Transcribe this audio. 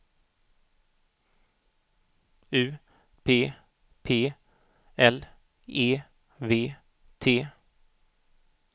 U P P L E V T